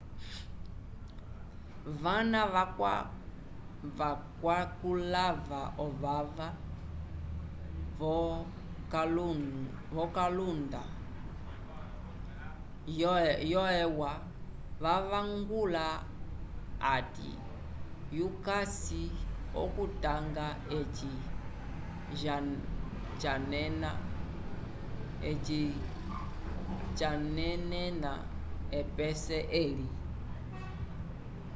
vana vakwakulava ovava vo kalunda yo e u a vavangula ati yukasi ookutanga eci janenena epese eli